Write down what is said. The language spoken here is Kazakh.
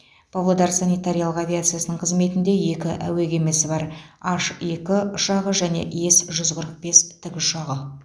павлодар санитариялық авиациясының қызметінде екі әуе кемесі бар ан екі ұшағы және ес жүз қырық бес тікұшағы